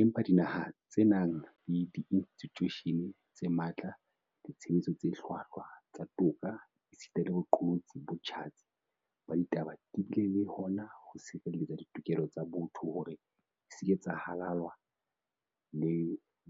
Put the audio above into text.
Empa dinaha tse nang le diinstitjushene tse matla, ditshebetso tse hlwahlwa tsa toka esita le boqolotsi bo tjhatsi ba ditaba di bile le hona ho sireletsa ditokelo tsa botho hore di se ke tsa halalwa le